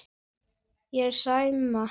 Og Sæma.